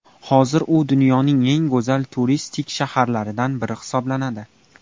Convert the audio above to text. Hozir u dunyoning eng go‘zal turistik shaharlaridan biri hisoblanadi.